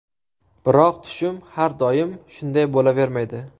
Biroq tushum har doim shunday bo‘lavermaydi.